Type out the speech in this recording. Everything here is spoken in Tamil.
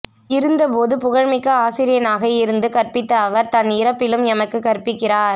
இருந்தபோது புகழ்மிக்க ஆசிரியனாக இருந்து கற்பித்த அவர் தன் இறப்பிலும் எமக்குக் கற்பிக்கிறார்